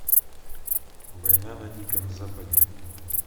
война на диком западе